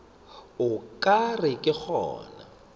o ka re ke gona